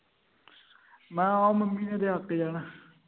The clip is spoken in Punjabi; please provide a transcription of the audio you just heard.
ਮੈਂ ਕਿਹਾ ਆਹੋ ਮੰਮੀ ਨੇ ਤੇ ਅੱਕ ਜਾਣਾ